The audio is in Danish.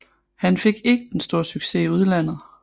Han fik ikke den store succes i udlandet